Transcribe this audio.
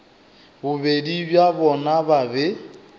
bobedi bja bona ba be